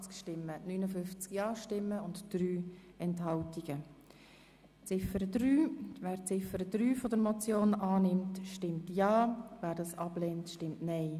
Wer Ziffer 3 der Motion annimmt, stimmt ja, wer das ablehnt, stimmt nein.